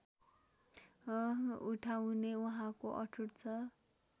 उठाउने उहाँको अठोट छ